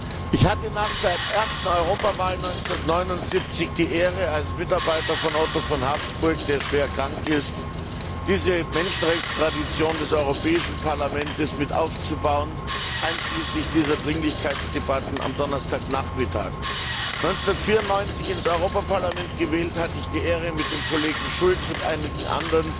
Herr Präsident! Ich hatte nach der ersten Europawahl 1979 die Ehre, als Mitarbeiter von Otto von Habsburg, der schwer krank ist, diese Menschenrechtstradition des Europäischen Parlaments mit aufzubauen, einschließlich dieser Dringlichkeitsdebatten am Donnerstagnachmittag. 1994 ins Europaparlament gewählt, hatte ich die Ehre, mit dem Kollegen Schulz und einigen anderen